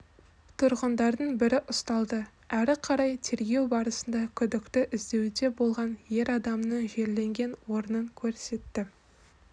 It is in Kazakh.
тұрғындардың бірі ұсталды әрі қарай тергеу барысында күдікті іздеуде болған ер адамның жерленген орнын көрсетті